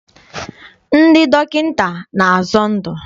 Ndị dọkịta na-azọ ndụ.